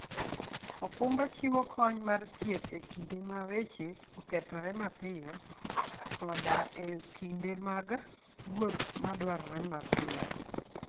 okumba chiwo kony mar thieth e kinde ma weche okethore mapiyo, koda e kinde mag wuoth madwarore mapiyo.